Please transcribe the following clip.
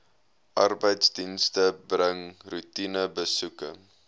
arbeidsdienste bring roetinebesoeke